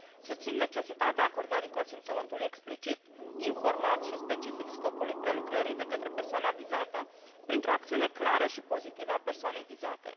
Susțin necesitatea acordării consimțământului explicit, informat și specific scopului prelucrării de către persoana vizată, printr o acțiune clară și pozitivă a persoanei vizate.